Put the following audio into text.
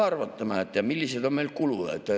Arvutame, millised on meil kulud.